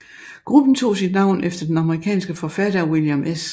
Gruppen tog sit navn efter den amerikanske forfatter William S